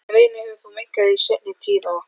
Reiðin hefur þó minnkað í seinni tíð og